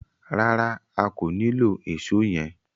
Rárá, a kò nilò Èṣó yẹn.